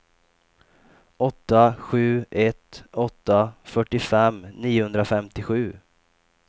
åtta sju ett åtta fyrtiofem niohundrafemtiosju